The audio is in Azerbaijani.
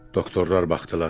Doktorlar baxdılar.